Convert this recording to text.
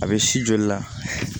A bɛ si joli la